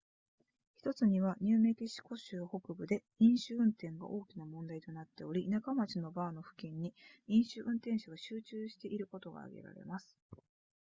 1つにはニューメキシコ州北部で飲酒運転が大きな問題となっており田舎町のバーの付近に飲酒運転者が集中していることが挙げられます